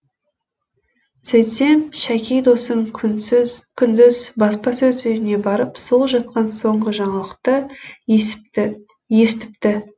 сөйтсем шәки досым күндіз баспасөз үйіне барып сол жақтан соңғы жаңалықты естіпті